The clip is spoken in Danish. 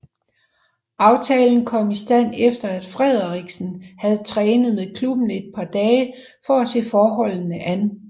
Aftalen kom i stand efter at Frederiksen havde trænet med klubben et par dage for at se forholdene an